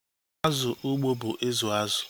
Azụ ugbo bụ izu azụ